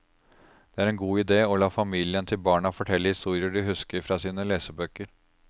Det er en god idé å la familien til barna fortelle historier de husker fra sine lesebøker.